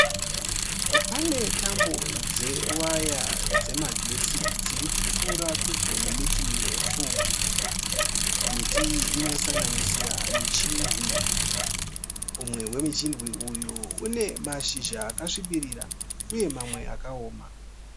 Pane tambo dzewaya dzemagetsi dziri kupfuura pedyo nemiti mirefu. Miti iyi inosanganisira michindwi. Umwe wemuchindwi uyu une mashizha akasvibirira uye mamwe akaoma.